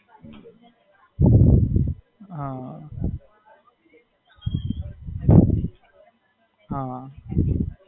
હાં.